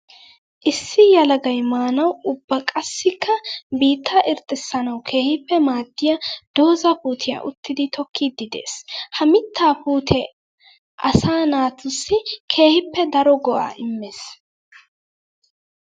Issi yelagay maanawu ubba qassikka biitta irxxatettawu keehippe maadiya dooza puutiya uttiddi tokkiddi de'ees. Ha mitta puute asaa naatussi keehippe daro go'a immees.